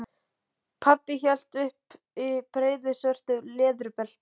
Pabbi hélt uppi breiðu svörtu leðurbelti.